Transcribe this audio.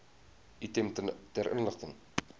item ter inligting